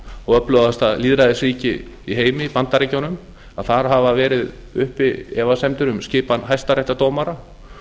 og öflugasta lýðræðisríki í heimi bandaríkjunum að þar hafa verið uppi efasemdir um skipan hæstaréttardómara